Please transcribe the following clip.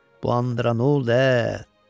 Bu andıra nə oldu ə?